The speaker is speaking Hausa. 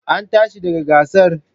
An tashi daga gasar?